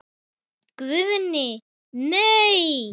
Guðni:. nei.